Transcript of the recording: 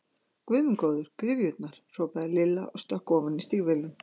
Guð minn góður, gryfjurnar! hrópaði Lilla og stökk ofan í stígvélin.